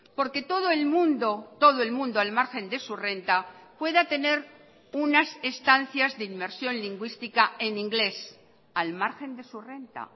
porque todo el mundo todo el mundo al margen de su renta pueda tener unas estancias de inmersión lingüística en inglés al margen de su renta